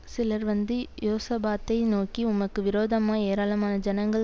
சிலர் வந்து யோசபாத்தை நோக்கி உமக்கு விரோதமாய் ஏராளமான ஜனங்கள்